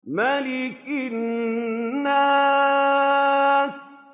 مَلِكِ النَّاسِ